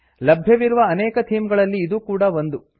ಲಭ್ಯವಿರುವ ಅನೇಕ ಥೀಮ್ ಗಳಲ್ಲಿ ಇದೂ ಕೂಡಾ ಒಂದು